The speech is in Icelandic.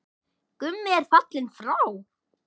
Gummi er fallinn frá.